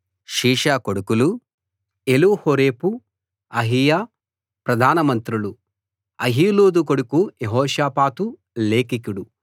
షీషా కొడుకులు Elihoreph Ahijah ప్రధాన మంత్రులు అహీలూదు కొడుకు యెహోషాపాతు లేఖికుడు